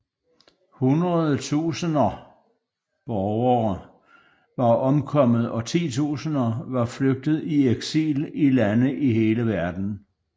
Hundrede tusinder borgere var omkommet og titusinder var flygtet i eksil i lande i hele verden